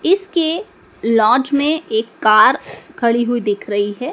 इसके लॉज में एक कार खड़ी हुई दिख रही है।